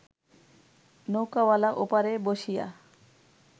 নৌকাওয়ালা ওপারে বসিয়া